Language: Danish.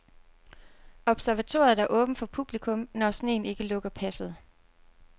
Observatoriet er åbent for publikum, når sneen ikke lukker passet.